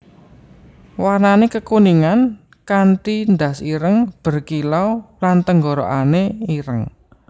Warnané kekuningan kanti ndas ireng berkilau lan tenggorokan ireng